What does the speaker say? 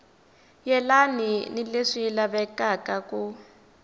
yelani ni leswi lavekaka ku